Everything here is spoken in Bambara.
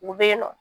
U bɛ yen nɔ